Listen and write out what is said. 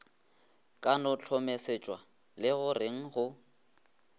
ka no hlomesetšwa legoreng go